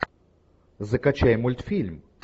закачай мультфильм